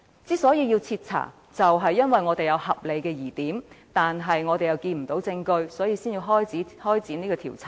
之所以要徹查，正是因為有合理疑點卻看不到證據，所以才要展開調查。